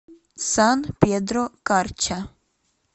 сан педро карча